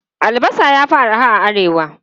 Albasa ya fi arha a Arewa.